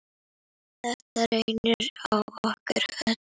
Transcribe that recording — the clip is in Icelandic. Þetta reyndi á okkur öll.